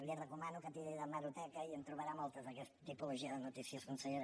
li recomano que tiri d’hemeroteca i en trobarà moltes d’aquesta tipologia de notícies consellera